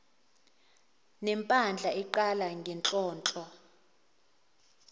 nempandla iqala ngenhlonhlo